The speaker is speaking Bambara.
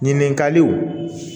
Ɲininkaliw